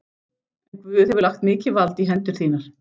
En Guð hefur lagt mikið vald í hendur þínar.